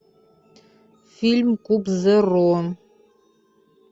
фильм куб зеро